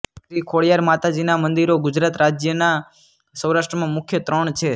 શ્રી ખોડિયાર માતાજીનાં મંદિરો ગુજરાત રાજયનાં સૌરાષ્ટ્રમાં મુખ્ય ત્રણ છે